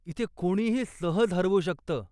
इथे कोणीही सहज हरवू शकतं.